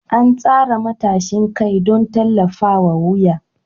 An tsara matashin kai don tallafawa wuya.